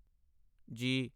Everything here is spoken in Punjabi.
ਜੀ